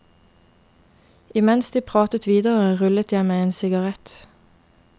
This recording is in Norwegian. I mens de pratet videre rullet jeg meg en sigarett.